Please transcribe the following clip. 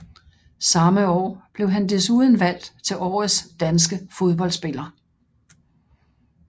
Samme år blev han desuden valgt til årets danske fodboldspiller